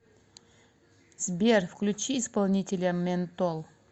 сбер включи исполнителя ментол